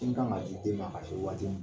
Sin kan ka di den ma ka se ma waati min